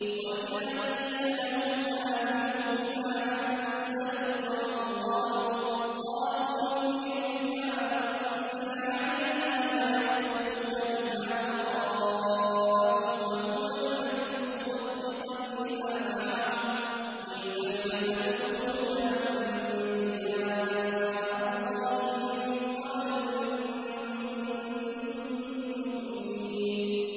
وَإِذَا قِيلَ لَهُمْ آمِنُوا بِمَا أَنزَلَ اللَّهُ قَالُوا نُؤْمِنُ بِمَا أُنزِلَ عَلَيْنَا وَيَكْفُرُونَ بِمَا وَرَاءَهُ وَهُوَ الْحَقُّ مُصَدِّقًا لِّمَا مَعَهُمْ ۗ قُلْ فَلِمَ تَقْتُلُونَ أَنبِيَاءَ اللَّهِ مِن قَبْلُ إِن كُنتُم مُّؤْمِنِينَ